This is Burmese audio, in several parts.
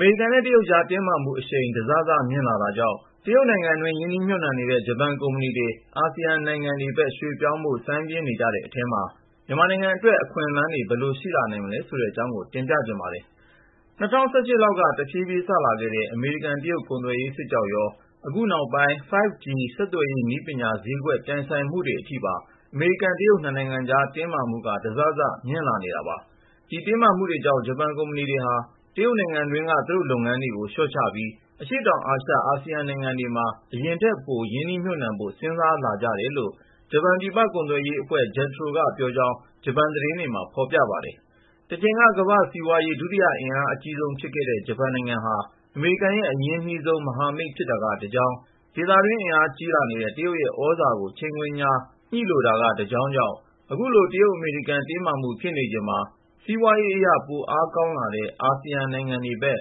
မေရိကန်နဲ့ တရုတ်ကြား တင်းမာမှုအရှိန် တစစ မြင့်လာတာကြောင့် တရုတ်နိုင်ငံတွင်း ရင်းနှီးမြှုပ်နှံနေတဲ့ ဂျပန်ကုမ္ပဏီတွေ အာဆီယံနိုင်ငံတွေဘက် ရွှေ့ပြောင်းဖို့ စိုင်းပြင်းနေကြတဲ့အထဲမှာ မြန်မာနိုင်ငံအတွက် အခွင့်အလမ်းတွေ ဘယ်လိုရှိလာနိုင်မလဲ ဆိုတဲ့အကြောင်း ကိုဉာဏ်ဝင်းအောင် စုစည်း တင်ပြထားပါတယ်။ ၂၀၁၈ လောက်က တဖြည်းဖြည်း စလာခဲ့တဲ့ အမေရိကန်-တရုတ် ကုန်သွယ်ရေးစစ်ကြောင့်ရော ခုနောက်ပိုင်း 5G ဆက်သွယ်ရေးနည်းပညာ ဈေးကွက်ပြိုင်ဆိုင်မှုတွေ အထိပါ အမေရိကန်-တရုတ် နှစ်နိုင်ငံကြား တင်းမာမှုက တစစ မြင့်လာနေတာပါ။ ဒီတင်းမာမှုတွေကြောင့် ဂျပန်ကုမ္ပဏီတွေဟာ တရုတ်နိုင်ငံတွင်းက သူတို့လုပ်ငန်းတွေကို လျှော့ချပြီး အရှေ့တောင်အာရှ အာဆီယံနိုင်ငံတွေမှာ အရင်ထက်ပို ရင်းနှီးမြှုပ်နှံဖို့ စဉ်းစားလာကြတယ်လို့ ဂျပန်ပြည်ပကုန်သွယ်ရေးအဖွဲ့ JETRO က ပြောကြောင်း ဂျပန်သတင်းတွေမှာ ဖော်ပြပါတယ်။ တချိန်က ကမ္ဘာ့စီးပွားရေးအင်အား ဒုတိယအကြီးဆုံးဖြစ်ခဲ့တဲ့ ဂျပန်နိုင်ငံဟာ အမေရိကန်ရဲ့ အရင်းနှီးဆုံး မဟာမိတ် ဖြစ်တာကတကြောင်း၊ ဒေသတွင်း အင်အားကြီးလာနေတဲ့ တရုတ်ရဲ့ သြဇာကို ချိန်ခွင်လျှာ ညှိလိုတာက တကြောင်းကြောင့် ခုလို တရုတ်-အမေရိကန် တင်းမာမှု ဖြစ်နေချိန်မှာ စီးပွားရေးအရ ပိုအလားအလာကောင်းတဲ့ အာဆီယံနိုင်ငံတွေဘက်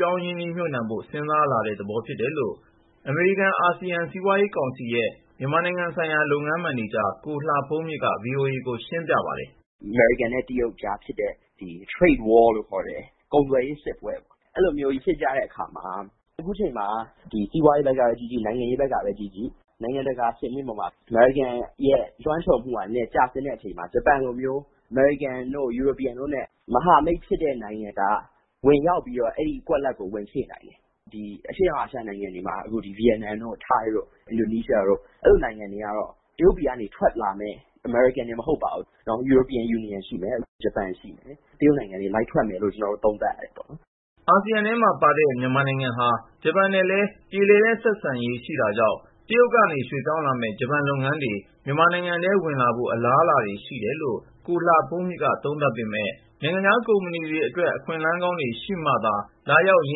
ပြောင်းရွှေ့ ရင်းနှီးမြှုပ်နှံဖို့ စဉ်းစားလာတဲ့သဘော ဖြစ်တယ်လို့ အမေရိကန်-အာဆီယံ စီးပွားရေးကောင်စီရဲ့ မြန်မာနိုင်ငံဆိုင်ရာ လုပ်ငန်းမန်နေဂျာ ကိုလှဘုန်းမြင့်က ဗွီအိုအေကို ရှင်းပြပါတယ်။ “အမေရိကန်နဲ့ တရုတ်ကြား ဖြစ်တဲ့ Trade War ကုန်သွယ်ရေးစစ်ပွဲပေါ့၊ အဲလိုကြီး ဖြစ်ကြတဲ့အခါမှာ အခုလိုအချိန်မှာ စီးပွားရေးဘက်ကကြည့်ကြည့် နိုင်ငံရေးဘက်ကကြည့်ကြည့် နိုင်ငံတကာစင်မြင့်ပေါ်မှာ အမေရိကန်ရဲ့ လွှမ်းခြုံမှု နည်းနည်းကျဆင်းနေချိန်ဆိုတော့ ဂျပန်လိုမျိုး အမေရိကန်တို့ EU တို့နဲ့ မဟာမိတ်ဖြစ်တဲ့ နိုင်ငံက အဲဒီကွက်လပ်ကို ဝင်ဖြည့်နိုင်တယ်။ အဲဒီတော့ တရုတ်ပြည်ကနေ ထွက်လာမယ့် အမေရိကန်တင် မကပါဘူး၊ ဥရောပနိုင်ငံတွေ ဂျပန်တို့လို နိုင်ငံတွေက ဗီယက်နမ်၊ ထိုင်း၊ အင်ဒိုနီးရှားတို့လို အရှေ့တောင်အာရှ နိုင်ငံတွေကို ရွှေ့လာလိမ့်မယ်လို့ သုံးသပ်ရတယ်ပေါ့။” အာဆီယံထဲမှာပါတဲ့ မြန်မာနိုင်ငံဟာ ဂျပန်နဲ့လည်း ပြေလည်တဲ့ဆက်ဆံရေး ရှိတာကြောင့် တရုတ်ကနေ ရွှေ့ပြောင်းလာမယ့် ဂျပန်လုပ်ငန်းတွေ မြန်မာနိုင်ငံထဲကို ဝင်လာဖို့ အလားအလာတွေ ရှိတယ်လို့ ကိုလှဘုန်းမြင့်က သုံးသပ်ပေမယ့် နိုင်ငံခြားကုမ္ပဏီတွေအတွက် အခွင့်အလမ်းကောင်းတွေ ရှိမှသာ လာရောက် ရ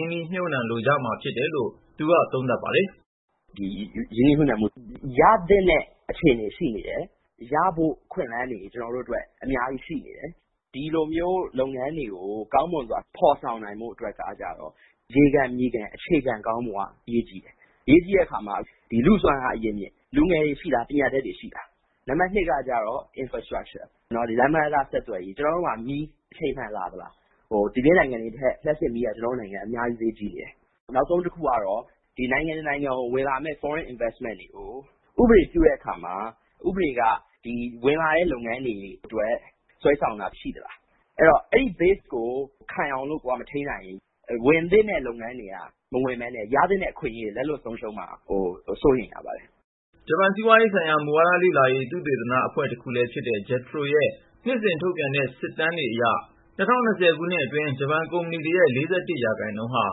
င်းနှီးမြှုပ်နှံလိုကြမှာ ဖြစ်တယ်လို့ ကိုလှဘုန်းမြင့်က သုံးသပ်ပါတယ်။ “ရင်းနှီးမြှုပ်နှံမှုတွေ ရသင့်တဲ့ အခြေအနေ ရှိနေတယ်။ ရဖို့အခွင့်အလမ်းတွေ ကျနော်တို့အတွက် အများကြီးရှိနေတယ်။ ဒီလိုလုပ်ငန်းတွေကို ကောင်းမွန်စွာ ဖော်ဆောင်နိုင်ဖို့ အတွက်ကျတော့ ရေခံမြေခံ အခြေခံကောင်းဖို့က အရေးကြီးတယ်။ အရေးကြီးတဲ့အခါမှာ လူ့စွမ်းအားရင်းမြစ် လူငယ်တွေရှိလား၊ ပညာတတ်တွေ ရှိလားပေါ့။ “နံပါတ် ၂ ကကျတော့ Infrastructure လမ်းပန်းတံတား ဆက်သွယ်ရေး၊ ကျနော်တို့မှာ လျှပ်စစ်မီး အချိန်မှန်လာရဲ့လားပေါ့။ အခြားနိုင်ငံတွေထက်စာရင် ကျနော်တို့နိုင်ငံ လျှပ်စစ်မီးက အများကြီး ဈေးကြီးနေသေးတယ်။ နောက်တခုက နိုင်ငံတခုကို ဝင်လာမယ့် နိုင်ငံခြားရင်းနှီးမြှုပ်နှံမှု Foreign Investment တွေနဲ့ ပတ်သက်လို့ ဥပဒေပြဋ္ဌာန်းတဲ့အခါမှာ ဥပဒေက ဝင်လာမယ့်သူတွေအတွက် ဆွဲဆောင်တာမျိုး ရှိသလား၊ အဲဒီအခြေခံတွေကို ခိုင်အောင်လို့ မထိန်းနိုင်ဘူးဆိုရင် ဝင်သင့်တဲ့လုပ်ငန်းတွေ မဝင်ဘဲနဲ့ ရသင့်တဲ့ အခွင့်အရေးတွေ လက်လွှတ်ဆုံးရှုံးကုန်မှာကိုတော့ စိုးရိမ်မိပါတယ်။” ဂျပန်စီးပွားရေးဆိုင်ရာ မူဝါဒလေ့လာရေး သုတေသနအဖွဲ့ တခုလည်းဖြစ်တဲ့ JETRO ရဲ့ နှစ်စဉ်ထုတ်ပြန်တဲ့ စစ်တမ်းတွေအရ ၂၀၂၀ ခုနှစ်ထဲ ဂျပန်ကုမ္ပဏီတွေရဲ့ ၄၁ ရာခိုင်နှုန်းဟာ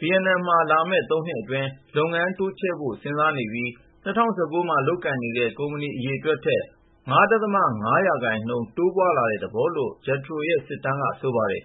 ဗီယက်နမ်နိုင်ငံမှာ လာမယ့် ၃ နှစ်အတွင်း လုပ်ငန်းတိုးချဲ့ဖို့ စဉ်းစားနေပြီး ၂၀၁၉ မှာ လုပ်ကိုင်နေတဲ့ ကုမ္ပဏီ အရေအတွက်ထက် ၅.၅ ရာခိုင်နှုန်း တိုးပွားလာတဲ့ သဘောလို့ JETRO စစ်တမ်းက ဆိုပါတယ်